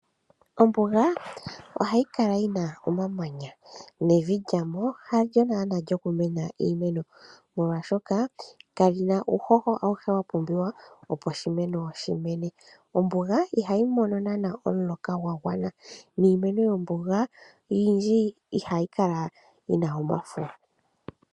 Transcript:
Ombuga ohayi kala yina omamanya, nevi lyamo, halyo naanaa lyokumena iimeno molwaashoka kalina uuhoho auhe wapumbiwa opo oshimeno shimene . Ombuga ihayi mono naanaa omuloka gwagwana niimeno yomombuga oyindji ihayi kala yina omafo.